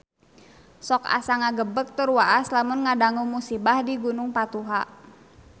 Sok asa ngagebeg tur waas lamun ngadangu musibah di Gunung Patuha